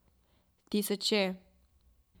Tisoče.